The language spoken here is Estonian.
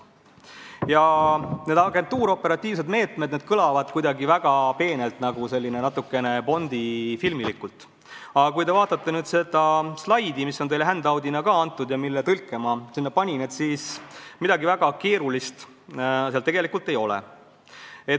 Eks see "agentuuroperatiivsed meetmed" kõlab kuidagi väga peenelt, nagu natuke bondifilmilikult, aga kui te vaatate seda slaidi, mis on teile handout'ina antud ja mille tõlke ma sinna panin, siis näete, et midagi väga keerulist tegelikult ei ole.